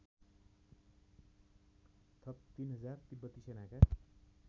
थप ३००० तिब्बती सेनाका